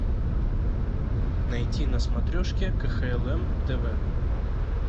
найти на смотрешке кхлм тв